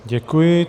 Děkuji.